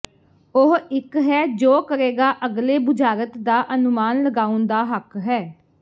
ਉਹ ਇੱਕ ਹੈ ਜੋ ਕਰੇਗਾ ਅਗਲੇ ਬੁਝਾਰਤ ਦਾ ਅਨੁਮਾਨ ਲਗਾਉਣ ਦਾ ਹੱਕ ਹੈ